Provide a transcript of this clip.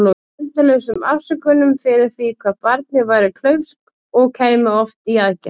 Endalausum afsökunum fyrir því hvað barnið væri klaufskt- og kæmi oft í aðgerð.